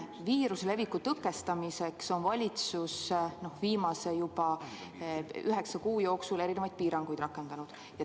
Viiruse leviku tõkestamiseks on valitsus viimase üheksa kuu jooksul rakendanud erinevaid piiranguid.